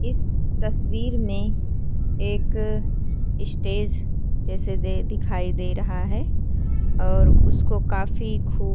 इस तस्वीर में एक स्टेज जैसे जे दिखाई दे रहा है और उसको काफी खूब --